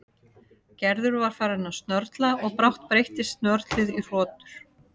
Gerður var farin að snörla og brátt breyttist snörlið í hrotur.